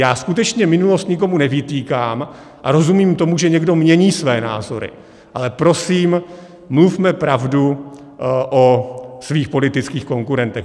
Já skutečně minulost nikomu nevytýkám a rozumím tomu, že někdo mění své názory, ale prosím, mluvme pravdu o svých politických konkurentech.